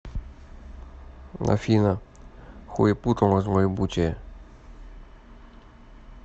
афина хуепутало злоебучее